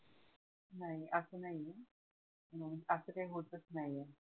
नाही नाही असं मग अस काही होतच नाही